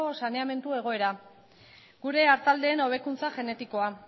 saneamendu egoera gure artaldeen hobekuntza genetikoa